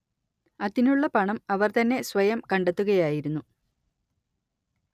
അതിനുള്ള പണം അവർ തന്നെ സ്വയം കണ്ടെത്തുകയായിരുന്നു